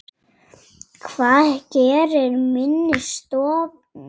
Hvað gerir minni stofn?